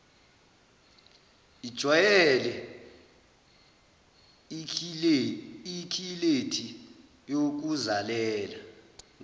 ijwayele ikhilethi yokuzalela